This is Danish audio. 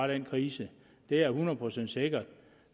den krise det er hundrede procent sikkert